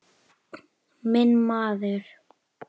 Honum létti líka.